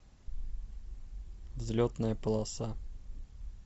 взлетная полоса